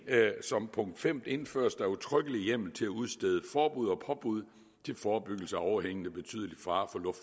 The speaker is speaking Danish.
femte indføres der udtrykkelig hjemmel til at udstede forbud og påbud til forebyggelse af overhængende betydelig fare